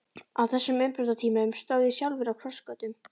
Á þessum umbrotatímum stóð ég sjálfur á krossgötum.